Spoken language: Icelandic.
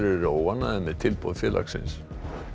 eru óánægðir með tilboð félagsins